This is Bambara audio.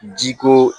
Ji ko